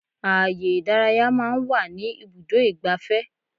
Ààyè ìdárayá máa ń wà ní ibùdó igbàfẹ́.